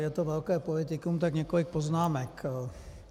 Je to velké politikum, tak několik poznámek.